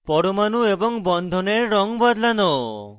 পরমাণু এবং বন্ধনের রঙ বদলানো